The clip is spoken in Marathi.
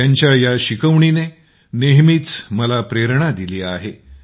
त्यांच्या या शिकवणीने नेहमीच मला प्रेरणा दिली आहे